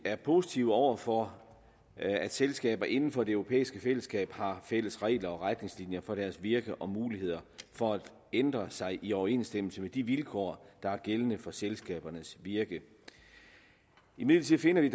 er positive over for at selskaber inden for det europæiske fællesskab har fælles regler og retningslinjer for deres virke og muligheder for at ændre sig i overensstemmelse med de vilkår der er gældende for selskabernes virke imidlertid finder vi